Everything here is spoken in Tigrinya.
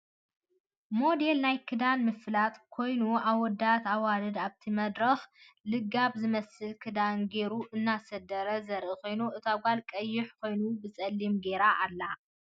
ሞዴል ናይ ክዳን ምፍላጥ ኮይኑ ኣወዳትን ኣዋልድን ኣብቲ መድረክ ልጋብ ዝመስል ክዳን ጌሩ እናሰደረ ዘርኢ ኮይኑ እታ ጋል ቀይሕ ኮይኑ ብፀሊም ገይራ ኣላ ።